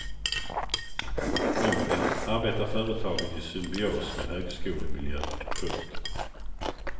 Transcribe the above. Omvänt arbetar företagen i symbios med högskolemiljön. punkt